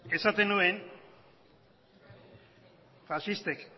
esaten nuen faxistek